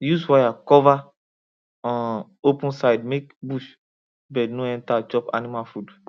use wire cover um open side make bush bird no enter chop animal food